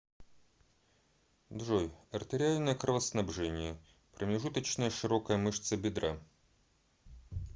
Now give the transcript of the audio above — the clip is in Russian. джой артериальное кровоснабжение промежуточная широкая мышца бедра